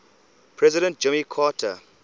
president jimmy carter